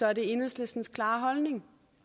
er det enhedslistens klare holdning